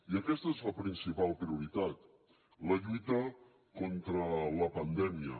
i aquesta és la principal prioritat la lluita contra la pandèmia